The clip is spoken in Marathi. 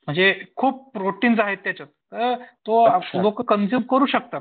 म्हणजे खूप प्रोटिन्स आहेत त्याच्यात. तर लोकं कंझ्युम करू शकतात.